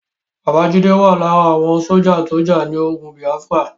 Bàbá Jídé wà lára àwọn sójà tó jà ní ogun Bìáfírà